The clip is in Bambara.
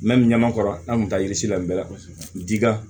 ɲɛmakɔrɔ an kun t'a yiri si la bɛɛ la kosɛbɛ dila